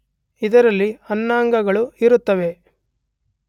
ಇದರಲ್ಲಿ ಅನ್ನಾಂಗಗಳು ಇರುತ್ತವೆ